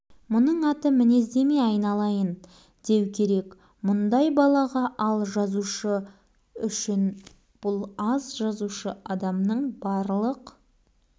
енді әлгі адамның мінез иесінің жақсы яки жаман екенін оқушы өзі пайымдап жатады